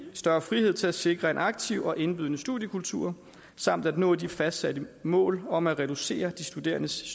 større frihed til at sikre en aktiv og indbydende studiekultur samt at nå de fastsatte mål om at reducere de studerendes